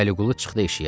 Vəliqulu çıxdı eşiyə.